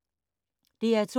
DR2